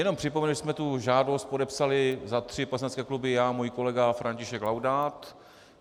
Jenom připomenu, že jsme tu žádost podepsali za tři poslanecké kluby já a můj kolega František Laudát.